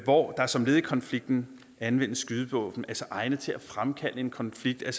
hvor der som led i konflikten anvendes skydevåben egnet til at fremkalde en konflikt er